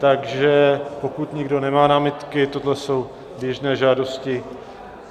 Takže pokud nikdo nemá námitky, tohle jsou běžné žádosti.